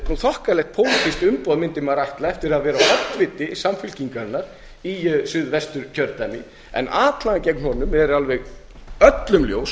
þokkalegt pólitískt umboð mundi maður ætla eftir að vera oddviti samfylkingarinnar í suðvesturkjördæmi en atlagan gegn honum er alveg öllum ljós